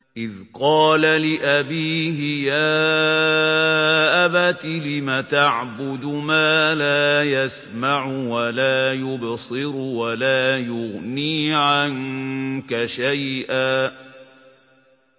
إِذْ قَالَ لِأَبِيهِ يَا أَبَتِ لِمَ تَعْبُدُ مَا لَا يَسْمَعُ وَلَا يُبْصِرُ وَلَا يُغْنِي عَنكَ شَيْئًا